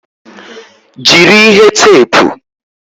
Jiri ihe teepu!